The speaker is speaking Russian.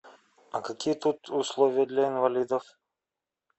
а какие тут условия для инвалидов